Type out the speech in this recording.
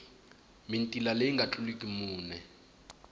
mitila leyi nga tluliki mune